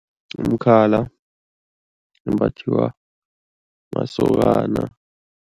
Umkhala umbathiwa masokana.